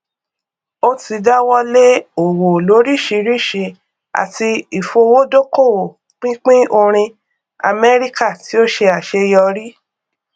ó ti dáwọlé òwò lóríṣiríṣi àti ìfowódókòwò pínpín orin amẹríkà tí ó ṣe àṣeyọrí